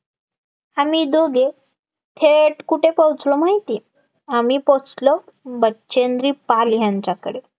आम्ही दोघे थेट कुठे पोहचलो माहितीये आम्ही पोहचलो, बचेंद्री पाल यांच्याकडे,